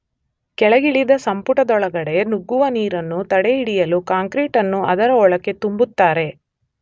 ಕೆಳಗಿಳಿದ ಸಂಪುಟದೊಳಗಡೆ ನುಗ್ಗುವ ನೀರನ್ನು ತಡೆಹಿಡಿಯಲು ಕಾಂಕ್ರೀಟನ್ನು ಅದರ ಒಳಕ್ಕೆ ತುಂಬುತ್ತಾರೆ.